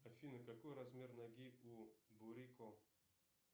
афина какой размер ноги у бурико